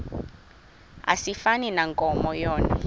asifani nankomo yona